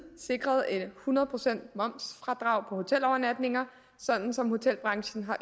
sikret hundrede procent momsfradrag på hotelovernatninger som hotelbranchen